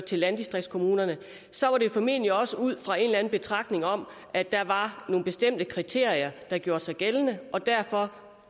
til landdistriktskommunerne formentlig også var ud fra en eller anden betragtning om at der var nogle bestemte kriterier der gjorde sig gældende og derfor